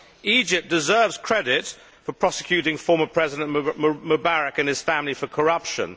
Egypt deserves credit for prosecuting former President Mubarak and his family for corruption.